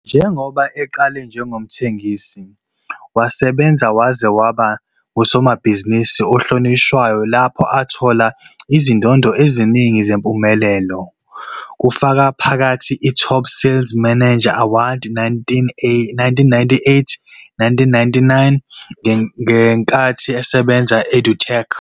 Njengoba eqale njengomthengisi, wasebenza waze waba ngusomabhizinisi ohlonishwayo lapho athola khona izindondo eziningi zempumelelo, kufaka phakathi iTop Sales Manager Award 1998-99 ngenkathi esebenza e-EDUTECH.